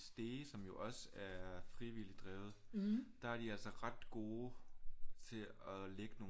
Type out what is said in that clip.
Stege som jo også er frivilligt drevet der er de altså ret gode til at lægge nogle